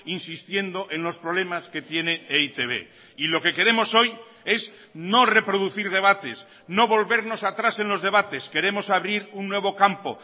insistiendo en los problemas que tiene e i te be y lo que queremos hoy es no reproducir debates no volvernos atrás en los debates queremos abrir un nuevo campo